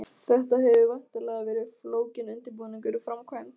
Þetta hefur væntanlega verið flókinn undirbúningur og framkvæmd?